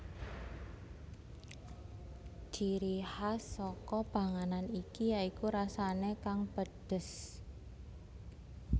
Ciri khas saka panganan iki ya iku rasane kang pedhes